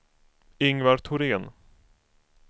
Ingvar Thorén